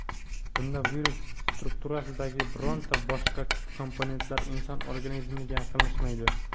Bunda virus strukturasidagi bironta boshqa komponentlar inson organizmiga yaqinlashmaydi.